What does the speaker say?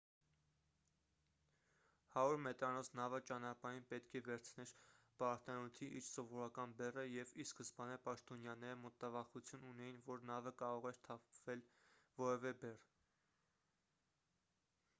100 մետրանոց նավը ճանապարհին պետք է վերցներ պարարտանյութի իր սովորական բեռը և ի սկզբանե պաշտոնյաները մտավախություն ունեին որ նավը կարող էր թափել որևէ բեռ